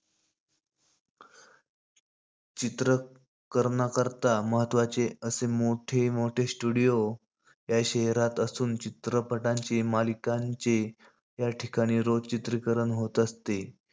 चित्रीकरणाकरता महत्वाचे असे मोठे-मोठे studio या शहरात असुन चित्रपटांचे, मालिकांचे या ठिकाणी रोज चित्रीकरण होत असते.